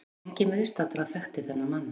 Enginn viðstaddra þekkti þennan mann.